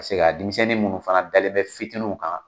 Pasek'a denmisɛnnin ninnu fana dalen bɛ fitininw kan